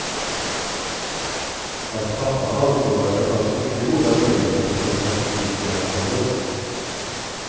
Hans pappa ansåg att det fanns mycket goda möjligheter för statistiker att få jobb.